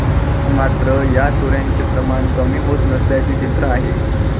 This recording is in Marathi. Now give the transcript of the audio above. मात्र, या चोऱ्यांचे प्रमाण कमी होत नसल्याचे चित्र आहे.